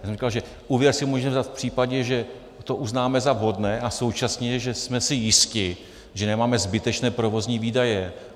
Já jsem říkal, že úvěr si můžeme vzít v případě, že to uznáme za vhodné a současně že jsme si jisti, že nemáme zbytečné provozní výdaje.